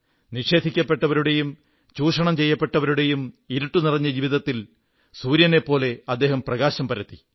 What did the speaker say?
നിഷേധിക്കപ്പെട്ടവരുടെയും ചൂഷണം ചെയ്യപ്പെട്ടവരുടെയും ഇരുട്ടുനിറഞ്ഞ ജീവിതത്തിൽ സൂര്യനെപ്പോലെ അദ്ദേഹം പ്രകാശം പരത്തി